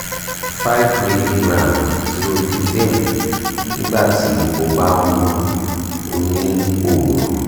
five milligram xolpidem nígbà tí o bá ń mu ó ní òru